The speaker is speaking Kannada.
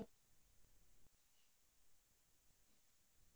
silence